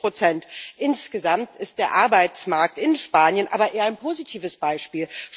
40 Insgesamt ist der Arbeitsmarkt in Spanien aber eher ein positives Beispiel.